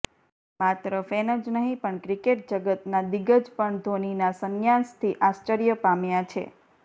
માત્ર ફેન જ નહીં પણ ક્રિકેટ જગતના દિગ્ગજ પણ ધોનીના સંન્યાસથી આશ્ચર્ય પામ્યા છે